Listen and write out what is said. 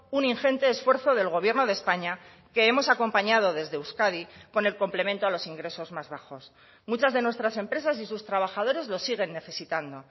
un ingente esfuerzo del gobierno de españa que hemos acompañado desde euskadi con el complemento a los ingresos más bajos muchas de nuestras empresas y sus trabajadores los siguen necesitando